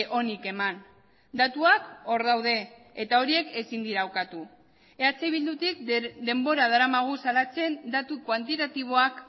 onik eman datuak hor daude eta horiek ezin dira ukatu eh bildutik denbora daramagu salatzen datu kuantitatiboak